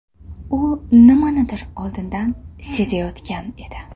U nimanidir oldindan sezayotgan edi.